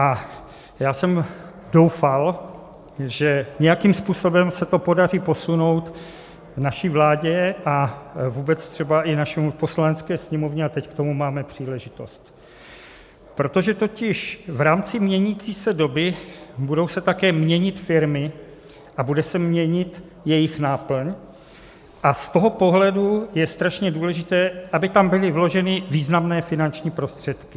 A já jsem doufal, že nějakým způsobem se to podaří posunout naší vládě a vůbec třeba i naší Poslanecké sněmovně, a teď k tomu máme příležitost, protože totiž v rámci měnící se doby budou se také měnit firmy a bude se měnit jejich náplň, a z toho pohledu je strašně důležité, aby tam byly vloženy významné finanční prostředky.